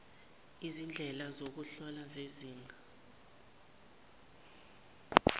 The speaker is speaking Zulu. izindlela zokuhlola zezinga